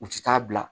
U ti taa bila